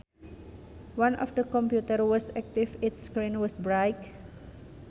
One of the computers was active its screen was bright